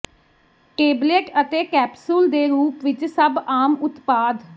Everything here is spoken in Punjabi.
ਟੇਬਲੇਟ ਅਤੇ ਕੈਪਸੂਲ ਦੇ ਰੂਪ ਵਿਚ ਸਭ ਆਮ ਉਤਪਾਦ